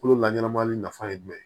Kolo la ɲɛnama nafa ye jumɛn ye